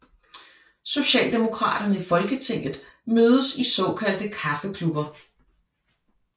Socialdemokraterne i Folketinget mødes i såkaldte kaffeklubber